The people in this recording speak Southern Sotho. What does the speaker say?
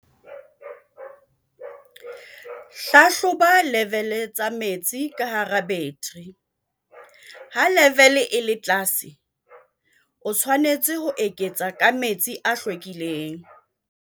Hlahloba level tsa metsi ka hara battery. Ha level e le tlase, o tshwanetse ho eketsa ka metsi a hlwekileng.